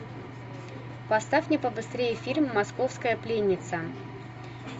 поставь мне побыстрее фильм московская пленница